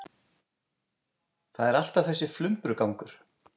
Það er alltaf þessi flumbrugangur.